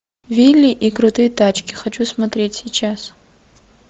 вилли и крутые тачки хочу смотреть сейчас